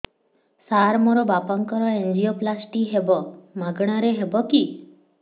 ସାର ମୋର ବାପାଙ୍କର ଏନଜିଓପ୍ଳାସଟି ହେବ ମାଗଣା ରେ ହେବ କି